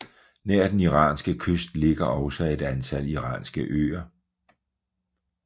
Nær den iranske kyst ligger også et antal iranske øer